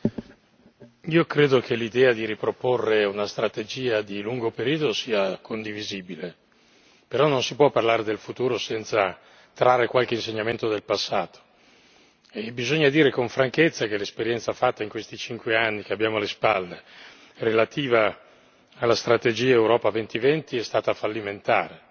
Signor Presidente, onorevoli colleghi, io credo che l'idea di riproporre una strategia di lungo periodo sia condivisibile. Però non si può parlare del futuro senza trarre qualche insegnamento dal passato e bisogna dire con franchezza che l'esperienza fatta in questi cinque anni che abbiamo alle spalle, relativa alla strategia Europa 2020, è stata fallimentare.